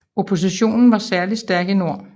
Oppositionen var særlig stærk i nord